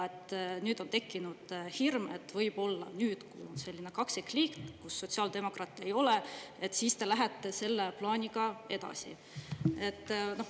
Nüüd on tekkinud hirm, et võib-olla nüüd, kui on selline kaksikliit, kus sotsiaaldemokraadid ei ole, siis te lähete selle plaaniga edasi.